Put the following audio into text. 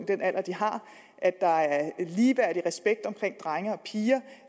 den alder de har at der er en ligeværdig respekt omkring drenge og piger